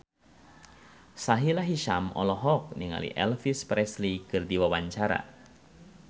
Sahila Hisyam olohok ningali Elvis Presley keur diwawancara